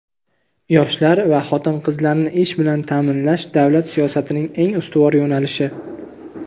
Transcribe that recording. Yoshlar va xotin-qizlarni ish bilan ta’minlash - davlat siyosatining eng ustuvor yo‘nalishi.